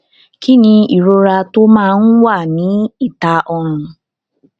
kí ni ìrora tó máa ń wà ní ìta ọrùn